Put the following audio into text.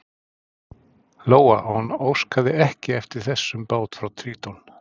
Lóa: Og hann óskaði ekki eftir þessum báti frá Tríton?